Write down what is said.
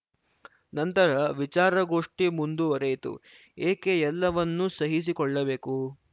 ನಂತರ ವಿಚಾರಗೋಷ್ಠಿ ಮುಂದುವರೆಯಿತು ಏಕೆ ಎಲ್ಲವನ್ನೂ ಸಹಿಸಿಕೊಳ್ಳಬೇಕು